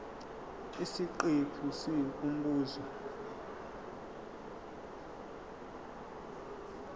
isiqephu c umbuzo